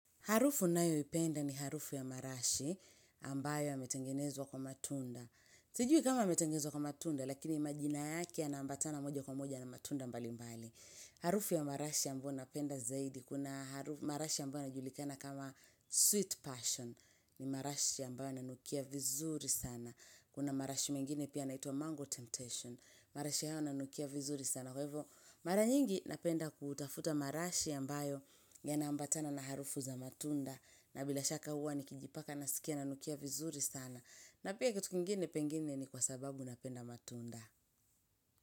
Harufu ninayoipenda ni harufu ya marashi ambayo ametengenezwa kwa matunda. Sijui kama ametengenezwa kwa matunda, lakini majina yake yanaambatana moja kwa moja na matunda mbalimbali. Harufu ya marashi ambayo napenda zaidi, kuna marashi ambayo yanajulikana kama sweet passion, ni marashi ambayo yananukia vizuri sana. Kuna marashi mengine pia yanaitwa mango temptation, marashi hao yananukia vizuri sana. Na kwa hivi mara nyingi napenda kutafuta marashi ambayo yanaambatana na harufu za matunda. Na bila shaka huwa nikijipaka naskia nanukia vizuri sana. Na pia kitu kingine pengine ni kwa sababu napenda matunda.